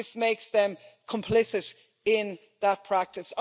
This makes them complicit in that practice.